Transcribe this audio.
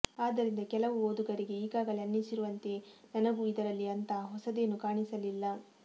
ಆದ್ದರಿಂದ ಕೆಲವು ಓದುಗರಿಗೆ ಈಗಾಗಲೆ ಅನ್ನಿಸಿರುವಂತೆಯೆ ನನಗೂ ಇದರಲ್ಲಿ ಅಂತಹ ಹೊಸದೇನೂ ಕಾಣಿಸಲಿಲ್ಲ